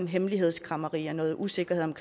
hemmelighedskræmmeri og noget usikkerhed om